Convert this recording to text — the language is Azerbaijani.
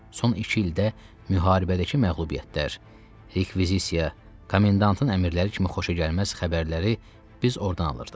Son iki ildə müharibədəki məğlubiyyətlər, rekvizisiya, komendantın əmrləri kimi xoşagəlməz xəbərləri biz ordan alırdıq.